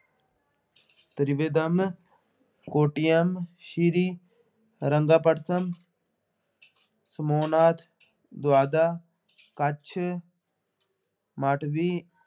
Trivandrum Kottayam Srirangapatnam ਸਮੂਹਨਾਥ ਕੱਛ, ਮਾਟਵੀ